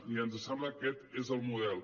i ens sembla que aquest és el model